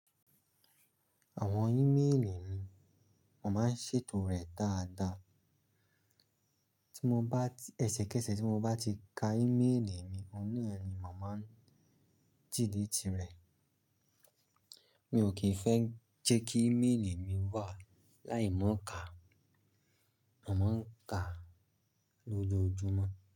Àwọn ímélì mi, màá ń ṣètò rẹ̀ dáadáa. Tí mo bá, ẹsẹ̀kẹsẹ̀ tí mo bá ti ka ímélì mi, òní ẹni màá ń jìdí ti rẹ̀. Mi ò kí ń fẹ́ jẹ́ kí ímélì mi wà láì mọ ka, màá ń ka lójoojúmọ́